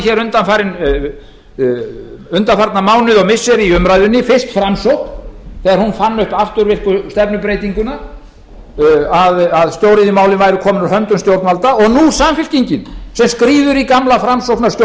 hér undanfarna mánuði og missiri í umræðunni fyrst framsókn þegar hún fann upp afturvirku stefnubreytinguna að stóriðjumálin væru komin úr höndum stjórnvalda og nú samfylkingin sem skríður í gamla framsóknarskjólið að